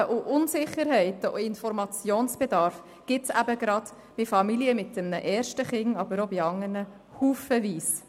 Und Fragen, Unsicherheiten und Informationsbedarf gibt es eben gerade bei Familien mit einem ersten Kind, aber auch bei anderen haufenweise.